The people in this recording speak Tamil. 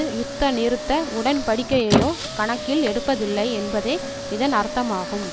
யுத்த நிறுத்த உடன்படிக்கையையோ கணக்கில் எடுப்பதில்லை என்பதே இதன் அர்த்தமாகும்